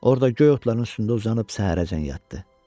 Orada göy otların üstündə uzanıb səhərəcən yatdı.